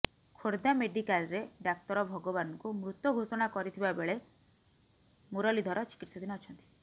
ଖୋର୍ଦ୍ଧା ମେଡିକାଲରେ ଡାକ୍ତର ଭଗବାନଙ୍କୁ ମୃତ ଘୋଷଣା କରିଥିବାବେଳେ ମୁରଲୀଧର ଚିକିତ୍ସାଧୀନ ଅଛନ୍ତି